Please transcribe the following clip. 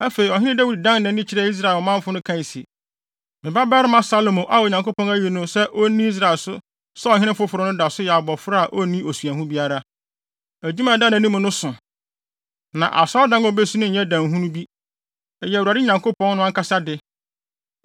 Afei, Ɔhene Dawid dan nʼani kyerɛɛ ɔmanfo no kae se, “Me babarima Salomo a Onyankopɔn ayi no sɛ onni Israel so sɛ ɔhene foforo no da so yɛ abofra a onni osuahu biara. Adwuma a ɛda nʼanim no so, na Asɔredan a obesi no nyɛ dan hunu bi. Ɛyɛ Awurade Nyankopɔn no ankasa de.